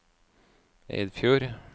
Eidfjord